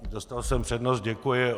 Dostal jsem přednost, děkuji.